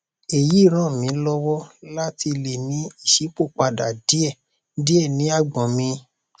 èyí ràn mí lọwọ láti lè ní ìṣípòpadà díẹ díẹ ní àgbọn mi